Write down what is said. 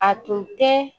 A tun tɛ